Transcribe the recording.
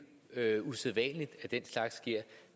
usædvanligt at den slags sker